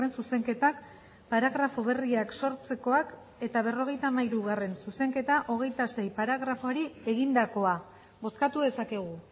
zuzenketak paragrafo berriak sortzekoak eta berrogeita hamairugarrena zuzenketa hogeita sei paragrafoari egindakoa bozkatu dezakegu